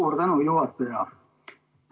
Suur tänu, juhataja!